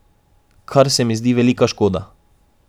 Kar se mi zdi velika škoda.